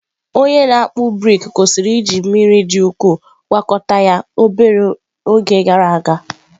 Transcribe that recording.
Onye na-akpụ brik kwụsịrị iji mmiri dị ukwuu gwakọta ya obere oge gara aga.